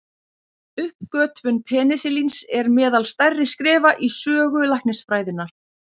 Uppgötvun penisilíns er meðal stærri skrefa í sögu læknisfræðinnar.